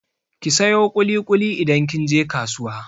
Ki sayo ƙuli-ƙuli idan kin je kasuwa!